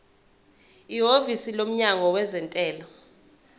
ihhovisi lomnyango wezentela